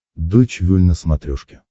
дойч вель на смотрешке